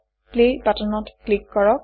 play বাটনত click কৰক